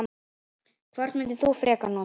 Hvort myndir þú frekar nota?